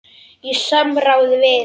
Í samráði við